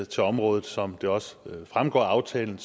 til området som det også fremgår af aftalen